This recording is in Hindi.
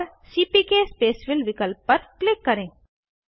और सीपीके स्पेसफिल विकल्प पर क्लिक करें